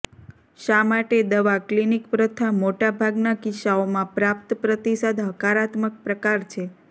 શા માટે દવા ક્લિનિક પ્રથા મોટા ભાગના કિસ્સાઓમાં પ્રાપ્ત પ્રતિસાદ હકારાત્મક પ્રકાર છે